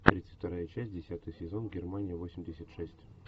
тридцать вторая часть десятый сезон германия восемьдесят шесть